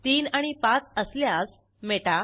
3 आणि 5 असल्यास मेटा